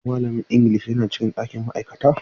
Shin malamin Ingilishi yana cikin ɗakin ma'aikata?